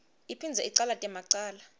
iphindze icalate macala